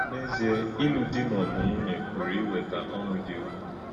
N’èzì̄è̄, ílụ́ dì̄ mà ọ́bụ̀ nwúnyē pụ̀rụ̀ íwètà ọ̀ṅụ́ dị́ ụ̀kwù̄.